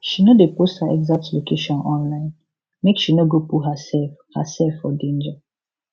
she no dey post her exact location online make she no go put herself herself for danger